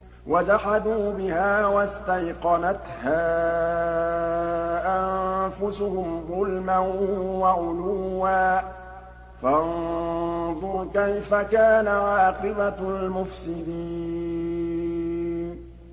وَجَحَدُوا بِهَا وَاسْتَيْقَنَتْهَا أَنفُسُهُمْ ظُلْمًا وَعُلُوًّا ۚ فَانظُرْ كَيْفَ كَانَ عَاقِبَةُ الْمُفْسِدِينَ